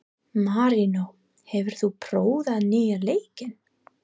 Marínó, hefur þú prófað nýja leikinn?